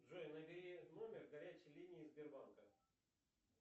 джой набери номер горячей линии сбербанка